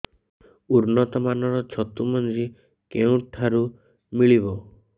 ଉନ୍ନତ ମାନର ଛତୁ ମଞ୍ଜି କେଉଁ ଠାରୁ ମିଳିବ